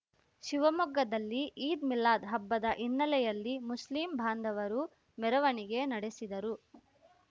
ಶಿವಮೊಗ್ಗದಲ್ಲಿ ಈದ್‌ಮಿಲಾದ್‌ ಹಬ್ಬದ ಹಿನ್ನೆಲೆಯಲ್ಲಿ ಮುಸ್ಲಿಂ ಬಾಂಧವರು ಮೆರವಣಿಗೆ ನಡೆಸಿದರು